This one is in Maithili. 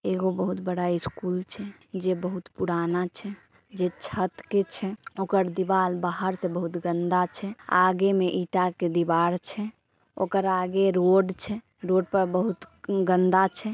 एगो बहुत बड़ा स्कूल छे जे बहुत पुराना छे जे छत के छे ओकर दीवाल बाहर से बहुत गंदा छे। आगे में ईटा के दीवार छे ओकर आगे रोड छे रोड पर बहुत गंदा छे।